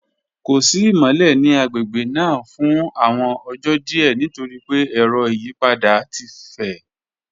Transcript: Ko si imọlẹ ni agbegbe naa fun awọn ọjọ diẹ nitori pe ẹrọ iyipada ti fẹ.